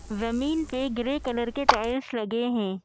ज़मीन पे grey colour के टाइल्स लगे हैं ।